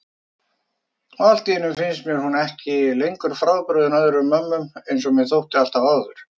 Og alltíeinu finnst mér hún ekki lengur frábrugðin öðrum mömmum einsog mér þótti alltaf áður.